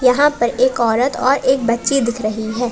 यहां पर एक औरत और एक बच्ची दिख रही है।